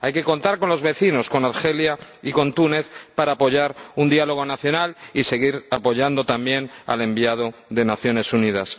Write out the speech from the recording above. Hay que contar con los vecinos, con Argelia y con Túnez, para apoyar un diálogo nacional y seguir apoyando también al Enviado Especial de las Naciones Unidas.